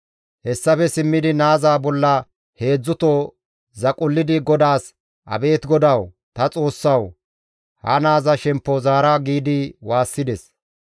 Hessafe simmidi naaza bolla heedzdzuto zaqullidi GODAAS, «Abeet GODAWU, ta Xoossawu! Ha naaza shemppo zaara» giidi waassides.